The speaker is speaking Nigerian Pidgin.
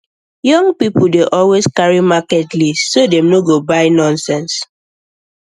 young people dey always carry market list so dem no go buy nonsense